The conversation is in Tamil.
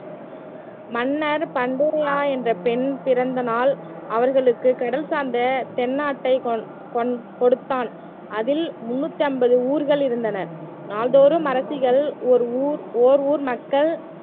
மன்னர் பண்டுரியா என்ற பெண் பிறந்த நாள் அவர்களுக்கு கடல் சார்ந்த தென்னாட்டை கொண் கொண் கொடுத்தான் அதில் முன்னூத்தி ஐம்பது ஊர்கள் இருந்தன நாள்தோறும் அரசிகள் ஒரு ஊர் ஓர் ஊர் மக்கள்